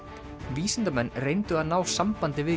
vísindamenn reyndu að ná sambandi við